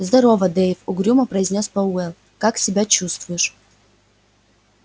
здорово дейв угрюмо произнёс пауэлл как себя чувствуешь